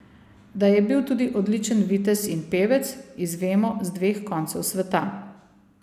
Da je bil tudi odličen vitez in pevec, izvemo z dveh koncev sveta.